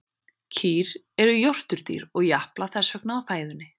kýr eru jórturdýr og japla þess vegna á fæðunni